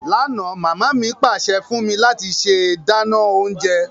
Lánà, mama mi pàsẹ fún mí láti se dánán ounje